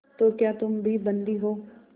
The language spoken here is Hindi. तो क्या तुम भी बंदी हो